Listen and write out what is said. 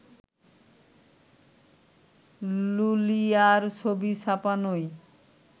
লুলিয়ার ছবি ছাপানোয়